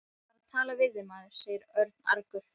Ég var að tala við þig, maður sagði Örn argur.